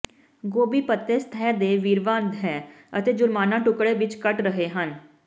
ਗੋਭੀ ਪੱਤੇ ਸਤਹ ਦੇ ਵਿਰਵਾ ਹੈ ਅਤੇ ਜੁਰਮਾਨਾ ਟੁਕੜੇ ਵਿੱਚ ਕੱਟ ਰਹੇ ਹਨ